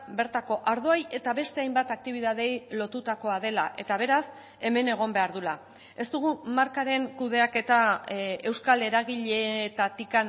bertako ardoei eta beste hainbat aktibitateei lotutakoa dela eta beraz hemen egon behar duela ez dugu markaren kudeaketa euskal eragileetatik